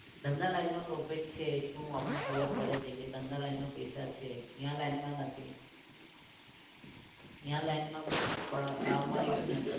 ધંધા line માં profit છે એટલું આપને ખબર પડે છે કે ધંધા line માં પૈસા છે. ન્યા line માં નથી. ન્યા line માં આમાં એવું નથી